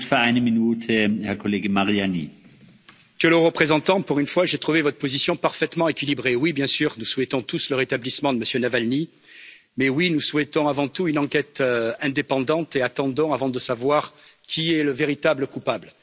Monsieur le Président, Monsieur le Haut représentant, pour une fois, j'ai trouvé votre position parfaitement équilibrée. Oui, bien sûr, nous souhaitons tous le rétablissement de M. Navalny. Oui, nous souhaitons avant tout une enquête indépendante et attendons avant de savoir qui est le véritable coupable.